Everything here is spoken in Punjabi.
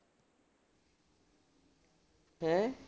ਹੈਂ?